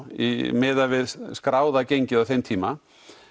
miðað við skráða gengið á þeim tíma